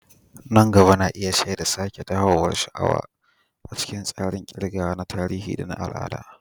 Nan gaba na iya shaida sake dawowar sha'awa a cikin tsarin ƙirgawa na tarihi da na al'ada.